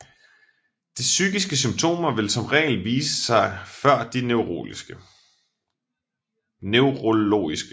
De psykiske symptomer vil som regel vise sig før de neurologiske